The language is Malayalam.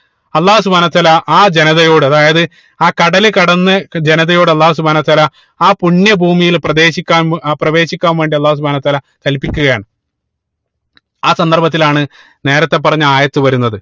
അള്ളാഹു സുബ്‌ഹാനഉ വതാല ആ ജനതയോട് അതായത് ആ കടല് കടന്ന് ജനതയോട് അള്ളാഹു സുബ്‌ഹാനഉ വതാല ആ പുണ്യ ഭൂമിയിൽ പ്രവേശിക്കാൻ ഏർ പ്രവേശിക്കാൻവേണ്ടി അള്ളാഹു സുബ്‌ഹാനഉ വതാല കല്പിക്കുകയാണ് ആ സന്ദർഭത്തിലാണ് നേരത്തെ പറഞ്ഞ ആയത്ത് വരുന്നത്